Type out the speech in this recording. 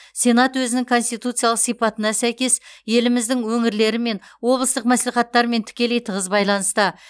сенат өзінің конституциялық сипатына сәйкес еліміздің өңірлерімен облыстық мәслихаттармен тікелей тығыз байланыста